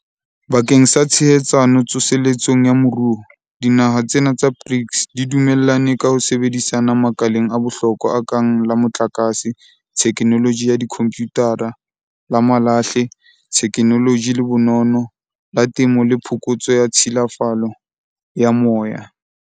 Bakeng sa tshehetsano tso seletsong ya moruo, dinaha tsena tsa BRICS di dumellane ka ho sebedisana makaleng a bohlokwa a kang la motlakase, thekenoloji ya dikhomputara, la mahlale, thekenoloji le bonono, la temo le phokotso ya tshilafalo ya moya.